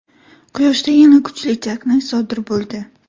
Quyoshda yana kuchli chaqnash sodir bo‘ldi.